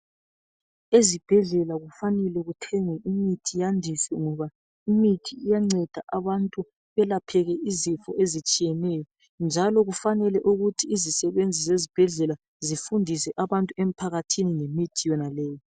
Ezibhedlela kufanele kuthengwe imithi yandiswe ngoba imithi iyanceda abantu kuyelapheke izifo ezitshiyeneyo. Njalo kufanele ukuthi izisebenzi zezibhedlela zifundise abantu emphakathini ngemithi yenaleyi.